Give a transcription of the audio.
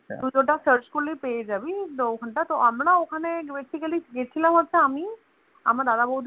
search করলে পেয়ে যাবি তো ওখান টাই আমরা না ওখানে Basically গিয়াছিলাম হচ্ছে আমি আমার দাদাবৌদী